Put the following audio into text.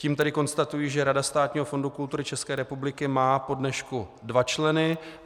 Tím tedy konstatuji, že Rada Státního fondu kultury České republiky má po dnešku dva členy.